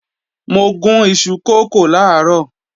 Mo gún ìṣù kókò làárọ̀